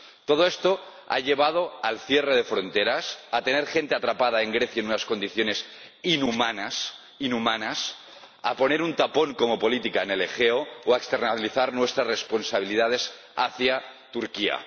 Todo esto ha llevado al cierre de fronteras, a tener gente atrapada en Grecia en unas condiciones inhumanas, a poner un tapón como política en el Egeo o a externalizar nuestras responsabilidades hacia Turquía.